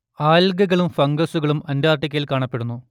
ആൽഗകളും ഫംഗസുകളും അന്റാർട്ടിക്കയിൽ കാണപ്പെടുന്നു